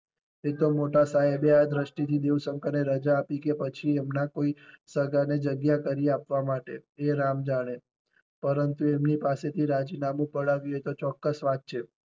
તે તો મોટા સાહેબે આ દ્રષ્ટિ થી દેવ શંકર ને રજા આપી કે પછી એમના કોઈ સગા ને જગ્યા કરી આપવા માટે તે રામ જાણે પરંતુ એમની પાસે થી રાજીનામું પડાવ્યું એ તો ચોક્કસ વાત છે